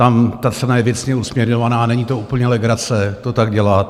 Tam ta cena je věcně usměrňovaná, není to úplně legrace, to tak dělat.